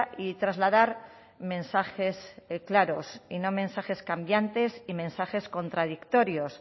y trasladar mensajes claros y no mensajes cambiantes y mensajes contradictorios